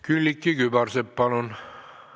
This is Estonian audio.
Külliki Kübarsepp, palun!